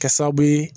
Kɛ sababu ye